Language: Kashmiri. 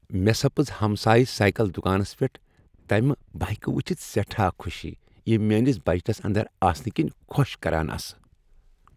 مےٚ سپز ہمسایہ سائکل دُکانس پیٹھ تَمہٕ بایكہٕ وُچھِتھ سیٹھاہ خوشی یِم میٲنِس بجٹس اندر آسنہٕ كِنۍ خۄش كران آسہٕ ۔